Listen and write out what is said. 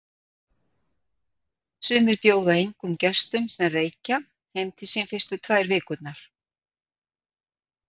Sumir bjóða engum gestum, sem reykja, heim til sín fyrstu tvær vikurnar.